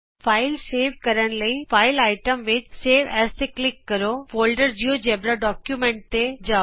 file save ਕਰਨ ਲਈ file item ਵਿਚ ਸੇਵ ਐਜ਼ ਤੇ ਕਲਿਕ ਕਰੋਫੋਲਡਰ ਜਿਉਜੇਬਰਾ ਡਾਕੂਮੈਂਟਜ਼ ਤੇ ਜਾਉ